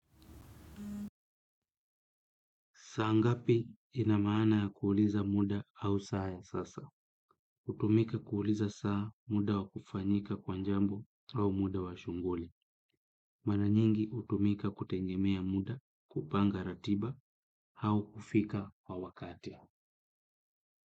Saa ngapi ina mana ya kuuliza muda au saa ya sasa? Hutumika kuuliza saa muda wa kufanyika kwa jambo au muda wa shughuli. Mara nyingi hutumika kutegemea muda, kupanga ratiba au kufika kwa wakati.